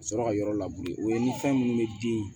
Ka sɔrɔ ka yɔrɔ o ye ni fɛn minnu bɛ den